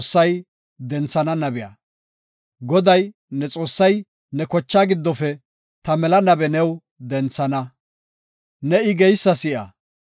Goday, ne Xoossay ne kochaa giddofe ta mela nabe new denthana. Ne I geysa si7a.